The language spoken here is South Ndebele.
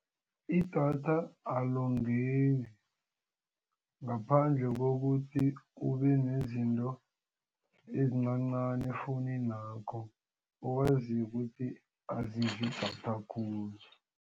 Idatha alongeki ngaphandle kokuthi kube nezinto ezincancani efowuninakho owazi ukuthi azidli idatha khulu.